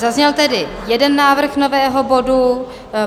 Zazněl tedy jeden návrh nového bodu.